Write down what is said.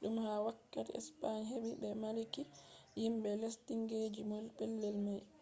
dum ha wakkati spain hebi be malliki himbe lesdinkeejum pellel mai